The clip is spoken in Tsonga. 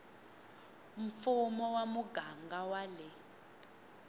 mfumo wa muganga wa le